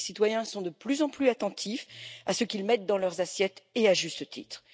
Les citoyens sont de plus en plus attentifs à ce qu'ils mettent dans leurs assiettes, à juste titre.